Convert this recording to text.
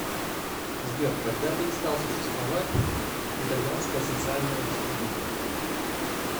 сбер когда перестал существовать итальянская социальная республика